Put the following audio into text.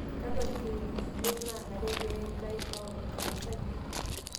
Kakua kiririkinot naanare pee eitaai taon enkanasa kitok